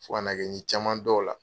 Fo ka na kɛ n ye caman dɔ o la.